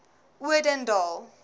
odendaal